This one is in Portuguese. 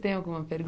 Tem alguma